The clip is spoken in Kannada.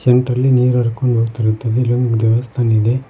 ಸೆಂಟ್ರಲ್ಲಿ ನೀರ್ ಹರ್ಕೊಂಡ್ ಹೋಗ್ತಿರುತ್ತದೆ ಇಲ್ ಒಂದು ದೇವಸ್ಥಾನ ಇದೆ.